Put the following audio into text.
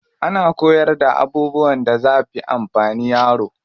Ana koyarda abubuwan da zafi amfani yaro.